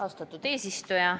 Austatud eesistuja!